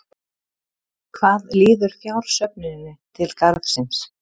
Hvað líður fjársöfnuninni til Garðsins?